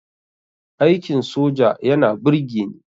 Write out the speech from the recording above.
Aikin soja yana burgeni